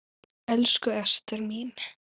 Elsku Ester mín.